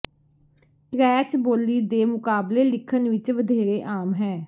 ਟ੍ਰੈਚ ਬੋਲੀ ਦੇ ਮੁਕਾਬਲੇ ਲਿਖਣ ਵਿਚ ਵਧੇਰੇ ਆਮ ਹੈ